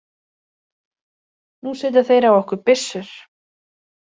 Nú setja þeir á okkur byssur!